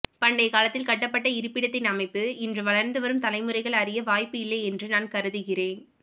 பண்டய காலத்தில் கட்டப்பட்ட இருபிடத்தின் அமைப்பு இன்று வளர்ந்து வரும் தலைமுறைகள் அறிய வாய்ப்பு இல்லை என்று நான் கருதுகிறேன்